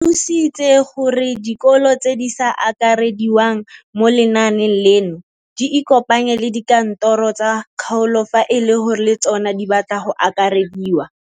Sitse gore dikolo tse di sa akarediwang mo lenaaneng leno di ikopanye le dikantoro tsa kgaolo fa e le gore le tsona di batla go akarediwa.